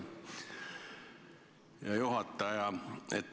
Hea juhataja!